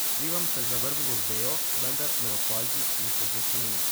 Skrivam se za vrbovo vejo, vendar me opazi in se zasmeji.